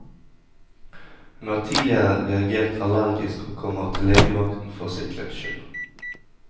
Hun har tidligere reagert allergisk, og kommer til legevakten for sikkerhets skyld.